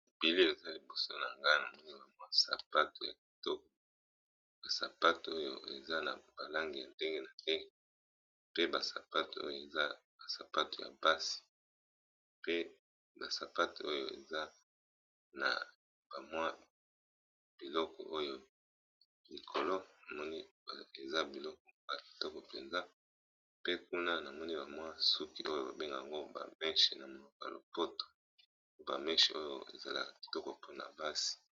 Bilili oyo eza liboso nangai namoni basabato ya kitoko ,ezali na ba langi ya Ndenge na ndenge pe ba sapato oyo eza ya basi pe na basapato eza na mwa eloko likolo namoni eza kitoko penza pe kuna namoni suki oya babengaka yango mèche na monoko ya lopoto .